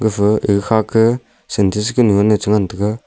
gafa ega khake sintex kunu e chengan taiga.